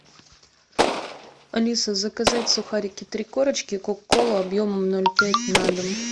алиса заказать сухарики три корочки кока колу объемом ноль пять на дом